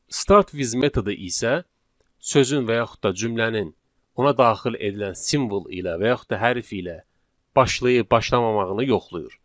Start with metodu isə sözün və yaxud da cümlənin ona daxil edilən simvol ilə və yaxud da hərf ilə başlayıb başlamamağını yoxlayır.